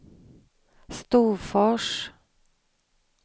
Storfors